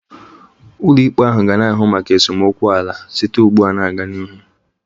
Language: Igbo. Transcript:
Ụlọikpe ahụ ga na-ahụ maka esemokwu ala site ugbu a gaa n'ihu